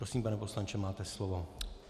Prosím, pane poslanče, máte slovo.